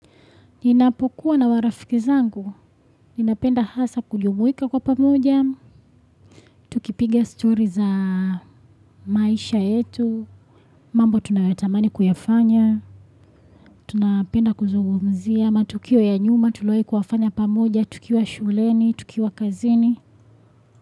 Ninapokuwa na warafiki zangu, ninapenda hasa kujumuika kwa pamoja, tukipiga story za maisha yetu, mambo tunayotamani kuyafanya, tunapenda kuzungumzia, matokeo ya nyuma, tuliowahi kufanya pamoja, tukiwa shuleni, tukiwa kazini.